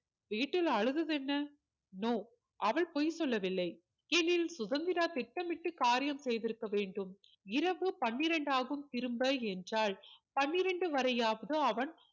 வீட்டில் அழுதது என்ன no அவள் பொய் சொல்லவில்லை எனில் சுதந்திரா திட்டமிட்டு காரியம் செய்து இருக்க வேண்டும் இரவு பன்னிரண்டாகும் திரும்ப என்றால் பன்னிரண்டு வரையாவது அவன்